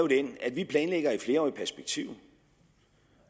den at vi planlægger i et flerårigt perspektiv